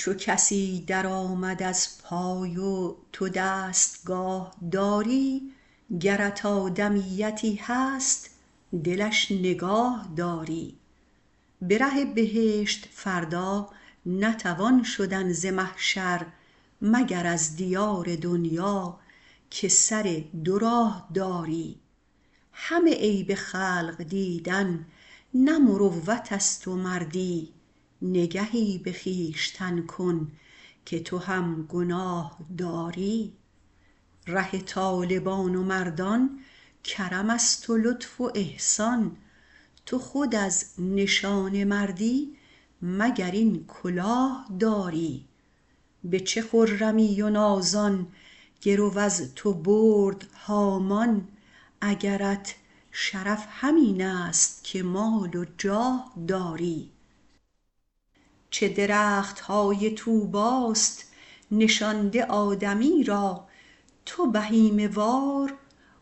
چو کسی در آمد از پای و تو دستگاه داری گرت آدمیتی هست دلش نگاه داری به ره بهشت فردا نتوان شدن ز محشر مگر از دیار دنیا که سر دو راه داری همه عیب خلق دیدن نه مروت است و مردی نگهی به خویشتن کن که تو هم گناه داری ره طالبان و مردان کرم است و لطف و احسان تو خود از نشان مردی مگر این کلاه داری به چه خرمی و نازان گرو از تو برد هامان اگرت شرف همین است که مال و جاه داری چه درخت های طوبی ست نشانده آدمی را تو بهیمه وار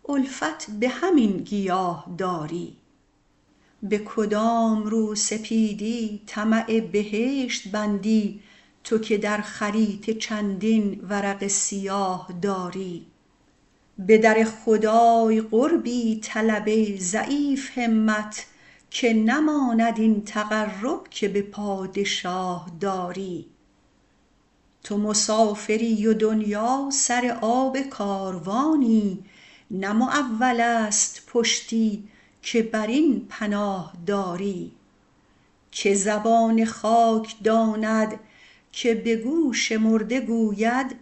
الفت به همین گیاه داری به کدام روسپیدی طمع بهشت بندی تو که در خریطه چندین ورق سیاه داری به در خدای قربی طلب ای ضعیف همت که نماند این تقرب که به پادشاه داری تو مسافری و دنیا سر آب کاروانی نه معول است پشتی که بر این پناه داری که زبان خاک داند که به گوش مرده گوید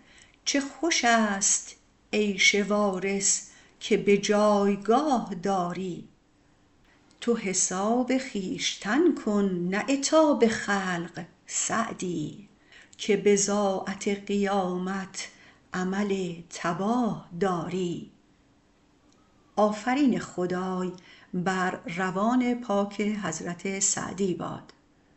چه خوش است عیش وارث که به جایگاه داری تو حساب خویشتن کن نه عتاب خلق سعدی که بضاعت قیامت عمل تباه داری